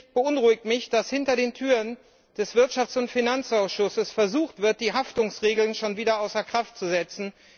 Schließlich beunruhigt mich, dass hinter den Türen des Wirtschafts und Finanzausschusses versucht wird, die Haftungsregeln schon wieder außer Kraft zu setzen.